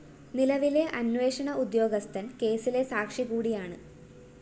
നിലവിലെ അന്വേഷണ ഉദ്യോഗസ്ഥന്‍ കേസിലെ സാക്ഷി കൂടിയാണ്